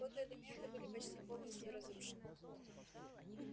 фотоэлементы были почти полностью разрушены